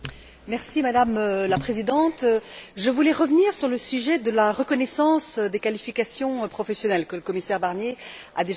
Je voulais revenir sur le sujet de la reconnaissance des qualifications professionnelles, que le commissaire Barnier a déjà eu l'occasion d'évoquer à plusieurs reprises.